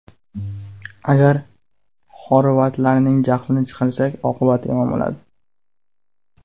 Agar xorvatlarning jahlini chiqarsak, oqibati yomon bo‘ladi.